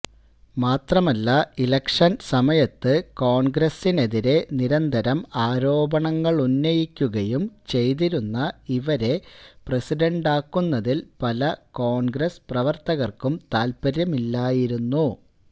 മാത്രമല്ല ഇലക്ഷൻ സമയത്ത് കോൺഗ്രസിനെതിരെ നിരന്തരം ആരോപണങ്ങളുന്നയിക്കുകയും ചെയ്തിരുന്ന ഇവരെ പ്രസിഡണ്ടാക്കുന്നതിൽ പല കോൺഗ്രസ് പ്രവർത്തകർക്കും താത്പര്യമില്ലായിരുന്നു